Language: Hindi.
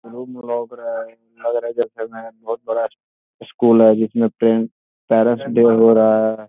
रुम लोग रहा है लग रहा है जैसे मे बोहुत बड़ा अ स्कूल है जिसमे पे पेरेंट्स डे हो रहा है।